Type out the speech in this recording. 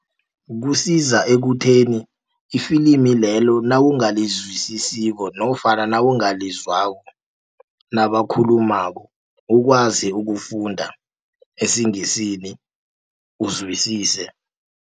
Kusiza ekutheni ifilimilelo nawungalizwisisiko nofana nawungalizwako nabakhulumako ukwazi ukufunda esiNgisini uzwisise.